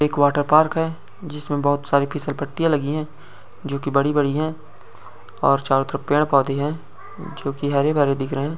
एक water park है जिसमे बोहोत बहो सारी फिसल पट्टीया लगी है जो कि बड़ी-बड़ी हैं और चारों तरफ पेड़ पौधे है जो कि हरे भरे दिख रहे --